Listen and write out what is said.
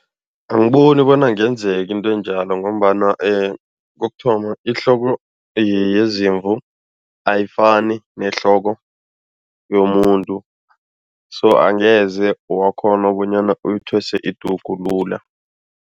Angiboni bona kungenzeka into enjalo ngombana kokuthoma, ihloko yezimvu ayifani nehloko yomuntu so, angeze wakghona bonyana uyithwese idugu lula.